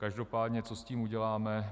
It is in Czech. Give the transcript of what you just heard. Každopádně co s tím uděláme.